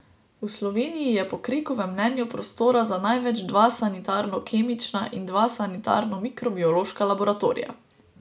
V Sloveniji je po Krekovem mnenju prostora za največ dva sanitarno kemična in dva sanitarno mikrobiološka laboratorija.